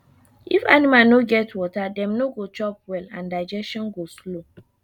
if animal no get water dem no go chop well and digestion go slow